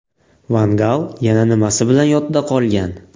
Van Gal yana nimasi bilan yodda qolgan?